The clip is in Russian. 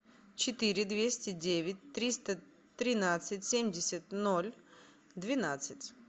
четыре двести девять триста тринадцать семьдесят ноль двенадцать